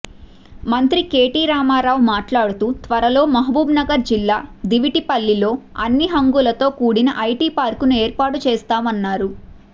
మంత్రి కెటిరామారావు మాట్లాడుతూ త్వరలో మహబూబ్నగర్ జిల్లా దివిటిపల్లిలో అన్ని హంగులతో కూడిన ఐటి పార్కును ఏర్పాటు చేస్తామన్నారు